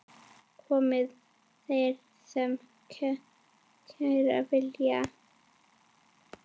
Komi þeir sem kæra vilja.